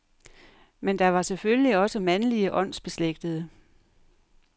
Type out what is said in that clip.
Men der var selvfølgelig også mandlige åndsbeslægtede.